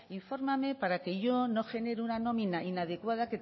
infórmame para que yo no genere una nómina inadecuada